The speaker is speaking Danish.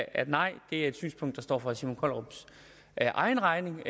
at nej det er et synspunkt der står for herre simon kollerups egen regning